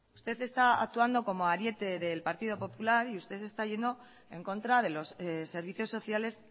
usted está actuando como ariete del partido popular y usted está yendo en contra de los servicios sociales